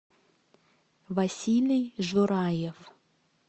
василий жураев